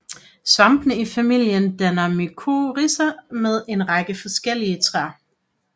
Svampene i familien danner mykorrhiza med en række forskellige træer